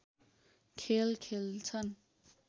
खेल खेल्छन्